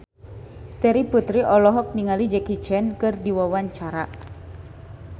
Terry Putri olohok ningali Jackie Chan keur diwawancara